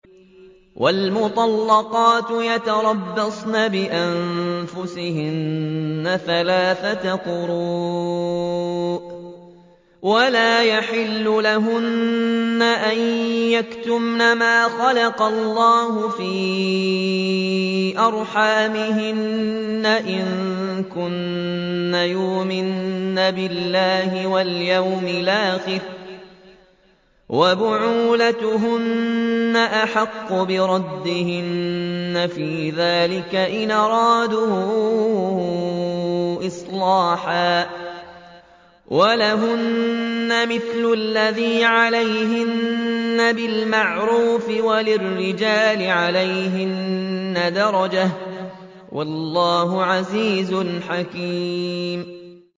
وَالْمُطَلَّقَاتُ يَتَرَبَّصْنَ بِأَنفُسِهِنَّ ثَلَاثَةَ قُرُوءٍ ۚ وَلَا يَحِلُّ لَهُنَّ أَن يَكْتُمْنَ مَا خَلَقَ اللَّهُ فِي أَرْحَامِهِنَّ إِن كُنَّ يُؤْمِنَّ بِاللَّهِ وَالْيَوْمِ الْآخِرِ ۚ وَبُعُولَتُهُنَّ أَحَقُّ بِرَدِّهِنَّ فِي ذَٰلِكَ إِنْ أَرَادُوا إِصْلَاحًا ۚ وَلَهُنَّ مِثْلُ الَّذِي عَلَيْهِنَّ بِالْمَعْرُوفِ ۚ وَلِلرِّجَالِ عَلَيْهِنَّ دَرَجَةٌ ۗ وَاللَّهُ عَزِيزٌ حَكِيمٌ